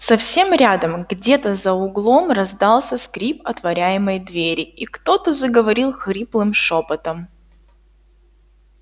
совсем рядом где-то за углом раздался скрип отворяемой двери и кто-то заговорил хриплым шёпотом